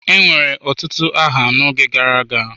Enwere otutu aha n'oge gara aga.